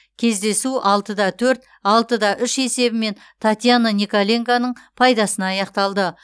кездесу алтыда төрт алтыда үш есебімен татьяна николенконың пайдасына аяқталды